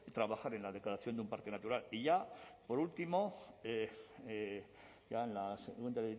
trabajar en la declaración de un parque natural y ya por último la segunda